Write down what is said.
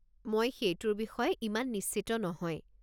মই সেইটোৰ বিষয়ে ইমান নিশ্চিত নহয়।